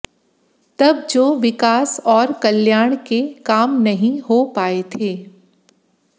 तब जो विकास और कल्याण के काम नहीं हो पाए थे